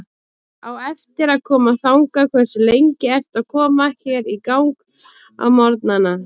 Á eftir að koma þangað Hversu lengi ertu að koma þér í gang á morgnanna?